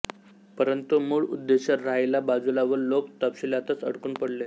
परंतु मूळ उद्देश राहिला बाजूला व लोक तपशीलातच अडकून पडले